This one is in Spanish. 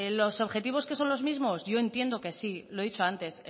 los objetivos que son los mismos yo entiendo que sí lo he dicho antes